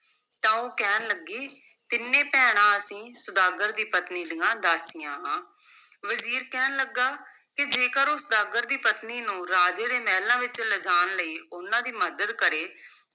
ਤਾਂ ਉਹ ਕਹਿਣ ਲੱਗੀ ਤਿੰਨੇ ਭੈਣਾਂ ਅਸੀਂ ਸੁਦਾਗਰ ਦੀ ਪਤਨੀ ਦੀਆਂ ਦਾਸੀਆਂ ਹਾਂ, ਵਜ਼ੀਰ ਕਹਿਣ ਲੱਗਾ ਕਿ ਜੇਕਰ ਉਹ ਸੁਦਾਗਰ ਦੀ ਪਤਨੀ ਨੂੰ ਰਾਜੇ ਦੇ ਮਹਿਲਾਂ ਵਿੱਚ ਲਿਜਾਣ ਲਈ ਉਨ੍ਹਾਂ ਦੀ ਮੱਦਦ ਕਰੇ,